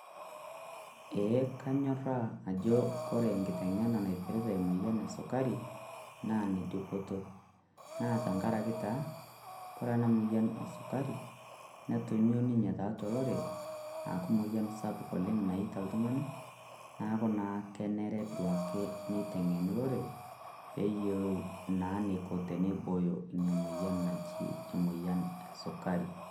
Ee kanyorra ajo ore engitenge'ena naipirta emoyian esilukari naa ene dupoto naa tengaraki taa kore ena moyian esukari neitonyua ninye tiatua olorere akuu emoyian sapuk oleng' naitaabika iltung'anak neaku naa kenare duo ake neiteng'eni olorere pee eyiolou naa eneiko teneiboyo Ina moyian naji enesukari.